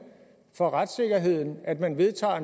for retssikkerheden at man vedtager